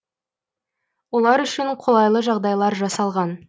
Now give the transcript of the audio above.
олар үшін қолайлы жағдайлар жасалған